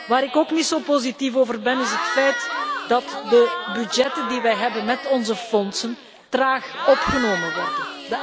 Waar ik ook niet zo positief over ben, is het feit dat de budgetten die wij hebben met onze fondsen traag opgenomen worden.